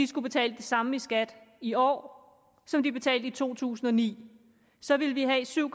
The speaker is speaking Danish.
skulle betale det samme i skat i år som de betalte i to tusind og ni så ville vi have syv